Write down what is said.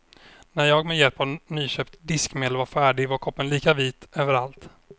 När jag med hjälp av nyköpt diskmedel var färdig var koppen lika vit överallt.